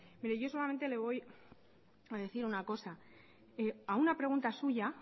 pero yo solamente le voy a decir una cosa a una pregunta suya